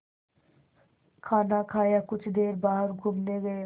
खाना खाया कुछ देर बाहर घूमने गए